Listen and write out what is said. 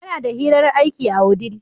Yana da hirar aiki a wudil.